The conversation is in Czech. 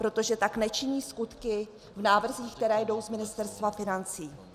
Protože tak nečiní skutky v návrzích, které jdou z Ministerstva financí.